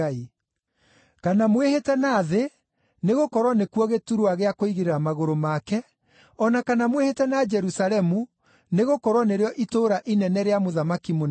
kana mwĩhĩte na thĩ, nĩgũkorwo nĩkuo gĩturwa gĩa kũigĩrĩra magũrũ make; o na kana mwĩhĩte na Jerusalemu, nĩgũkorwo nĩrĩo itũũra inene rĩa Mũthamaki mũnene.